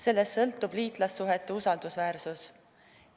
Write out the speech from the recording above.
Sellest sõltub liitlassuhete usaldusväärsus.